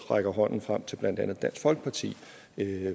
rækker hånden frem til blandt andet dansk folkeparti